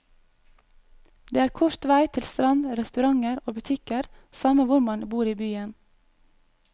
Det er kort vei til strand, restauranter og butikker samme hvor man bor i byen.